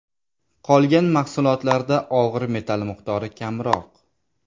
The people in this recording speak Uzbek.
Qolgan mahsulotlarda og‘ir metall miqdori kamroq.